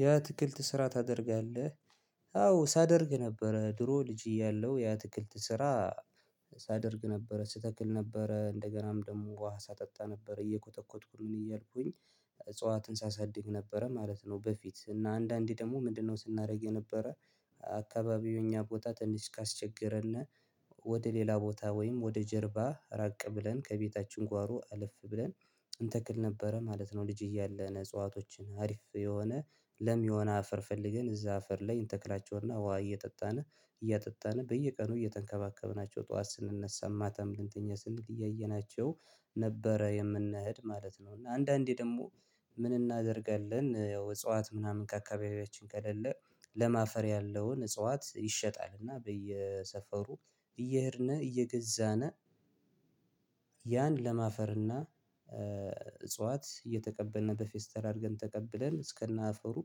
የአትክልት ስራ ታደርጋለህ አዎ ሳደርግ ነበረ ድሮ ልጅ እያለሁ የአትክልት ስራ ሳደርግ ነበረ ስተክል ነበረ እንደገናም ደግሞ ውሃ ሳጠጣ ነበረ እየኮተኮትኩኝ ምን እያልኩኝ። እጽዋትን ሳሳድግ ነበረ ማለት ነው። በፊት እና አንዳንዴ ደግሞ ምንድነው? ስናደርግ የነበረ። አካባቢው እኛ ቦታ ትንሽ ካስቸገረን። ወደ ሌላ ቦታ ወይም ወደ ጀርባ ራቅ ብለን ከቤታችን ጓሮ አልፍ ብለን እንተክል ነበረ ማለት ነው። ልጅ እያለን እጽዋቶችን አሪፍ የሆነ ለም የሆነ አፈር ፈልገን እዛ አፈር ላይ እንተክላቸውና ውሃ እየጠጣን እያጠጣን በየቀኑ እየተንከባከብናቸው ጠዋት ስንነሳ ማታም ልንተኛ ስንል እያየናቸው ነበረ የምንሄድ ማለት ነው። እና አንዳንዴ ደግሞ። ምን እናደርጋለን ያው እጽዋት ምናምን ከአካባቢያችን ከሌለ ለም አፈር ያለውን እጽዋት ይሸጣል እና በየሰፈሩ እየሄድን እየገዛን። ያን ለም አፈርና እጽዋት እየተቀበልን በፌስታል አድርገን ተቀብለን እስከነ አፈሩ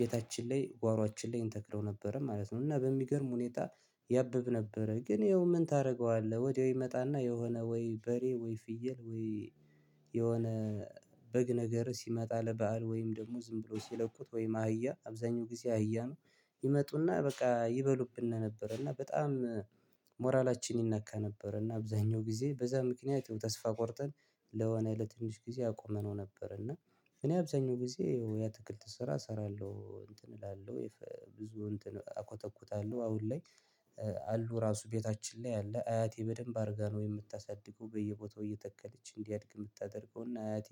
ቤታችን ላይ ጓሮአችን ላይ እንተክለው ነበረ ማለት ነው። እና በሚገርም ሁኔታ ያብብ ነበረ። ግን ይኸው ምን ታደርገዋለህ? ወዲያው ይመጣና የሆነ ወይ በሬ ወይ ፍየል ወይ የሆነ በግ ነገር ሲመጣ ለበአል ወይም ደግሞ ዝም ብሎ ሲለቁት ወይም አህያ አብዛኛው ጊዜ አህያ ነው ይመጡና በቃ ይበሉብን ነበር። እና በጣም ሞራላችን ይነካ ነበር እና አብዛኛው ጊዜ በዛ ምክንያት ይሄው ተስፋ ቆርጠን ለሆነ ለትንሽ ጊዜ አቁመነው ነበር። እና እኔ አብዛኛው ጊዜ የአትክልት ስራ እሰራለሁ። እንትን እላለሁ ብዙ እንትን እኮተኩታለሁ አሁን ላይ አሉ ራሱ ቤታችን ላይ ያለ አያቴ በደንብ አድርጋ ነው የምታሳድገው። በየቦታው እየተከለች እንዲያድግ የምታደርገው እና አያቴ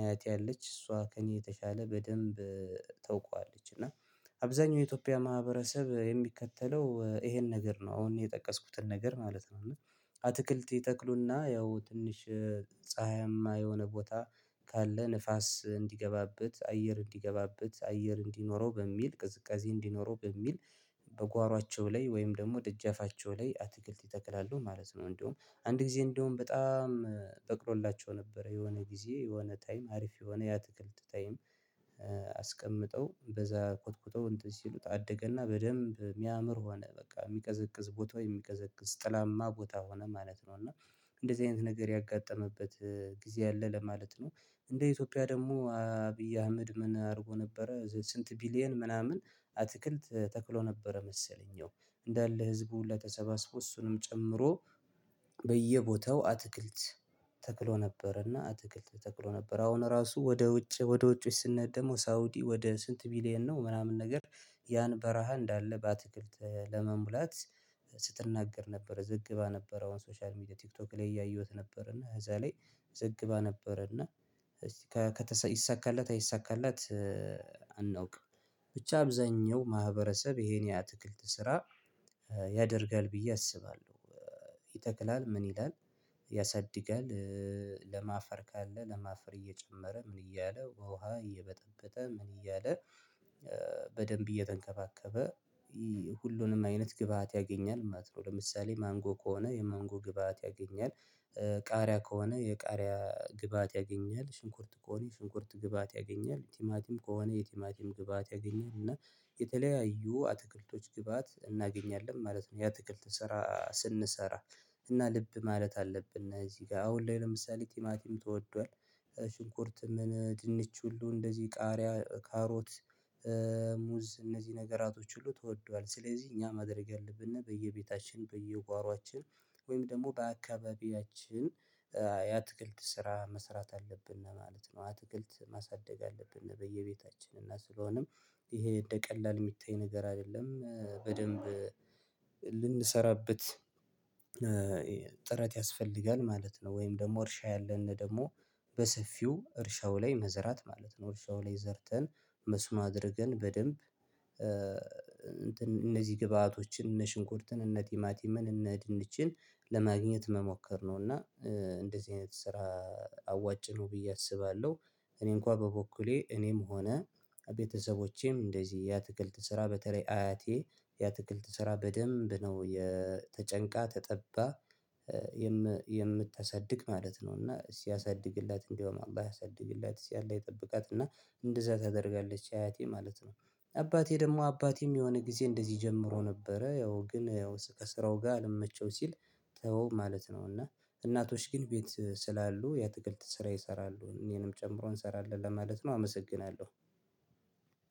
አያቴ ያለች እሷ ከእኔ የተሻለ በደንብ ታውቀዋለች። እና አብዛኛው የኢትዮጵያ ማህበረሰብ የሚከተለው ይሄን ነገር ነው። አሁን እኔ የጠቀስኩትን ነገር ማለት ነው። እና አትክልት ይተክሉና ያው ትንሽ ፀሀይማ የሆነ ቦታ ካለ ንፋስ እንዲገባበት አየር እንዲገባበት አየር እንዲኖረው በሚል ቅዝቃዜ እንዲኖረው በሚል በጓሯቸው ላይ ወይም ደግሞ ድጃፋቸው ላይ አትክልት ይተክላሉ ማለት ነው። እንደውም አንድ ጊዜ እንደውም በጣም በቅሎላቸው ነበረ የሆነ ጊዜ የሆነ ታይም አሪፍ የሆነ የአትክልት ታይም አስቀምጠው በዛ ኮትኩተው እንትን ሲሉት አደገና በደንብ የሚያምር ሆነ በቃ የሚቀዘቅዝ ቦታ ወይ የሚቀዘቅዝ ጥላማ ቦታ ሆነ ማለት ነው። እና እንደዚህ አይነት ነገር ያጋጠመበት ጊዜ አለ ለማለት ነው። እንደ ኢትዮጵያ ደግሞ አብይ አህመድ ምን አድርጎ ነበረ ስንት ቢሊየን ምናምን አትክልት ተክሎ ነበረ። መሰለኝ ያው እንዳለ ህዝቡ ሁላ ተሰባስበው እሱንም ጨምሮ በየቦታው አትክልት ተክሎ ነበር እና አትክልት ተክሎ ነበር። አሁን ራሱ ወደ ውጭ ወደ ውጭ ስንሄድ ደሞ ሳውዲ ወደ ስንት ቢሊየን ነው ምናምን ነገር። ያን በረሃ እንዳለ በአትክልት ለመሙላት ስትናገር ነበር። ዝግባ ነበረው ሶሻል ሚዲያ ቲክቶክ ላይ እያየሁት ነበር። እና እዛ ላይ ዘግባ ነበረና። እዚህ ይሳካላት አይሳካላት? አናውቅም። ብቻ አብዛኛው ማህበረሰብ ይሄን የአትክልት ስራ ያደርጋል ብዬ አስባለሁ። ይተክላል ምን ይላል? ያሳድጋል። ለም አፈር ካለ ለም አፈር እየጨመረ ምን እያለ ውሃ እየበጠበጠ ምን እያለ። በደንብ እየተንከባከበ ሁሉንም አይነት ግብአት ያገኛል ማለት ነው። ለምሳሌ ማንጎ ከሆነ የማንጎ ግብአት ያገኛል። ቃሪያ ከሆነ የቃሪያ ግብአት ያገኛል ሽንኩርት ከሆነ ሽንኩርት ግብአት ያገኛል ቲማቲም ከሆነ የቲማቲም ግብአት ያገኛል እና የተለያዩ አትክልቶች ግብአት እናገኛለን ማለት ነው። የአትክልት ስራ ስንሰራ እና ልብ ማለት አለብን። እዚህ ጋር አሁን ላይ ለምሳሌ ቲማቲም ተወዷል። ሽንኩርትም ድንች ሁሉ እንደዚህ ቃሪያ ካሮት ሙዝ እነዚህ ነገራቶች ሁሉ ተወዷል። ስለዚህ እኛ ማድረግ ያለብን በየቤታችን በየጓሮአችን ወይም ደግሞ በአካባቢያችን የአትክልት ስራ መስራት አለብን ማለት ነው። አትክልት ማሳደግ አለብን በየቤታችን እና ስለሆነም ይሄን እንደ ቀላል የሚታይ ነገር አይደለም በደንብ ልንሰራበት ያስፈልጋል ማለት ነው። ወይም ደግሞ እርሻ ያለንን ደግሞ በሰፊው እርሻው ላይ መዝራት ማለት ነው። እርሻው ላይ ዘርተን መስኖ አድርገን በደንብ እንትን እነዚህ ግብአቶችን እነ ሽንኩርትን እነ ቲማቲመን እነ ድንችን ለማግኘት መሞከር ነው። እና እንደዚህ አይነት ስራ አዋጭ ነው ብዬ አስባለሁ። እኔ እንኳን በበኩሌ እኔም ሆነ ቤተሰቦቼም እንደዚህ የአትክልት ስራ በተለይ አያቴ የአትክልት ስራ በደንብ ነው የ ተጨንቃ ተጠባ የምታሳድግ ማለት ነው። እና ሲያሳድግላት እንደውም አላህ ያሳድግላት እስቲ አላህ ይጠብቃት እና እንደዛ ታደርጋለች አያቴ ማለት ነው። አባቴ ደግሞ አባቴም የሆነ ጊዜ እንደዚህ ጀምሮ ነበረ ያው ግን ያው ከስራው ጋር አልመቸው ሲል ተወው ማለት ነው። እና እናቶች ግን ቤት ስላሉ የአትክልት ስራ ይሰራሉ እኔንም ጨምሮ እንሰራለን ለማለት ነው። አመሰግናለሁ።